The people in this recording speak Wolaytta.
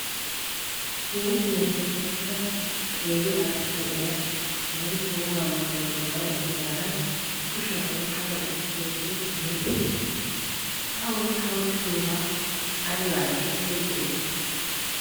Huuphphiya dadissida qeeri arssa na'iya wolaytta wogaa maayuwa maaya uttidaara kushiyan oyqqada uttidoogee aybee? Ha A oyqqa uttidoogaa aybaassi asay go'ettii?